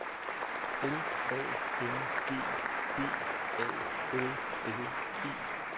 L A N G B A L L E